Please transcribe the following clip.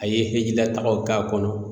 A ye hijilatagaw k'a kɔnɔ